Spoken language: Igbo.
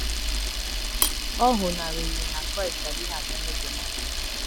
ọ ghonariri na Kraịst adịghị abịa n’oge Mass.